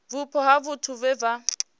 vhupo ha vhathu vhe vha